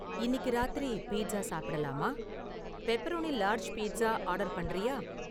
இன்னிக்கு ராத்திரி பீட்ஸா சாப்பிடலாமா? பெப்பரோனி லார்ஜ் பீட்ஸா ஆர்டர் பண்ணுறியா?